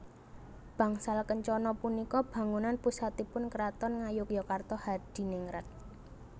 Bangsal Kencana punika bangunan pusatipun Kraton Ngayogyakarta Hadiningrat